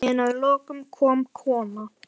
En að lokum kom kona.